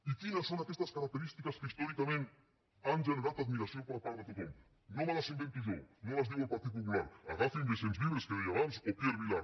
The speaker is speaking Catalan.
i quines són aquestes característiques que històricament han generat admiració per part de tothom no me les invento jo no les diu el partit popular agafin vicens vives que deia abans o pierre vilar